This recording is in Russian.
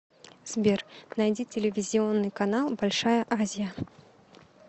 сбер найди телевизионный канал большая азия